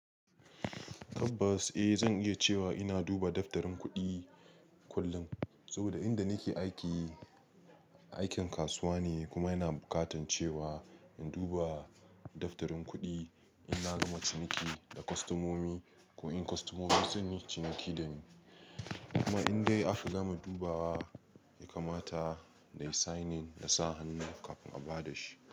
Tabbas, eh zan iya cewa ina duba daftarin kuɗi kullum. Saboda inda nake aiki, aikin kasuwa ne kuma yana buƙatan cewa in duba daftarin kuɗi in na gama ciniki da kostomomi ko in kostomomi sun yi ciniki da ni. Kuma in dai aka gama dubawa ya kamata nai signing na sa hannu kafin a ba da shi.